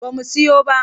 Ba mu siyo ba.